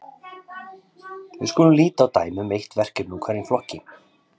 Við skulum líta á dæmi um eitt verkefni úr hverjum flokki.